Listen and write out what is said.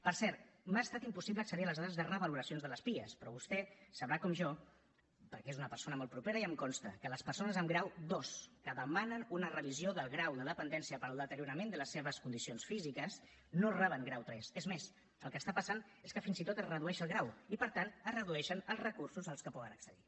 per cert m’ha estat impossible accedir a les dades de revaloracions de les pia però vostè sabrà com jo perquè és una persona molt propera i em consta que les persones amb grau ii que demanen una revisió del grau de dependència pel deteriorament de les seves condicions físiques no reben grau iii és més el que està passant és que fins i tot es redueix el grau i per tant es redueixen els recursos a què poden accedir